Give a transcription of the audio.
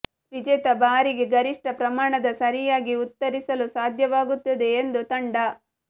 ವಿಜೇತ ಬಾರಿಗೆ ಗರಿಷ್ಠ ಪ್ರಮಾಣದ ಸರಿಯಾಗಿ ಉತ್ತರಿಸಲು ಸಾಧ್ಯವಾಗುತ್ತದೆ ಎಂದು ತಂಡ